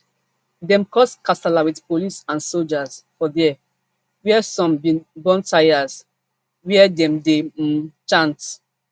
dem cause kasala wit police and soldiers for dia wia some bin burn tyres wia dem dey um chant